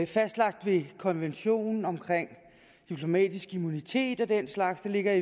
fastlagt i konventionen om diplomatisk immunitet og den slags det ligger